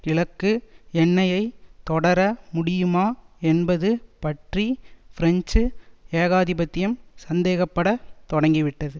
கிழக்கு எண்ணெயை தொடர முடியுமா என்பது பற்றி பிரெஞ்சு ஏகாதிபத்தியம் சந்தேகப்படத் தொடங்கிவிட்டது